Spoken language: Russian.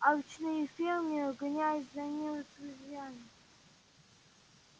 алчные фермеры гонялись за ним с ружьями